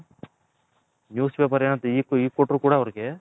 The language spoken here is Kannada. News paper ಅಂತ ಇಗು ಕೊಟ್ರು ಕೂಡ ಅವರಿಗೆ .